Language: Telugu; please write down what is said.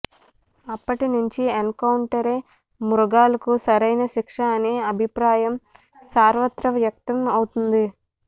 అప్పటి నుంచి ఎన్కౌంటరే మృగాళ్లకు సరైన శిక్ష అనే అభిప్రాయం సర్వత్రా వ్యక్తం అవుతోంది